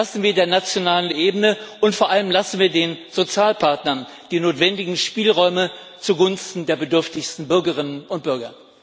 Lassen wir der nationalen Ebene und vor allem den Sozialpartnern die notwendigen Spielräume zugunsten der bedürftigsten Bürgerinnen und Bürger.